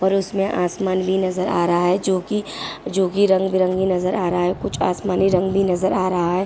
और उसमें आसमान भी नजर आ रहा जो कि जो कि रंग-बिरंगे नजर आ रहा है। कुछ आसमानी रंग भी नजर आ रहा है।